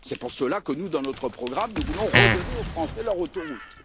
C'est pour cela que, dans notre programme, nous voulons redonner aux Français leurs autoroutes.